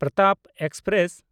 Pratap express